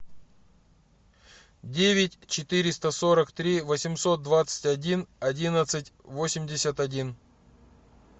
девять четыреста сорок три восемьсот двадцать один одиннадцать восемьдесят один